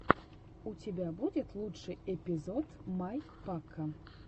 у тебя будет лучший эпизод май пака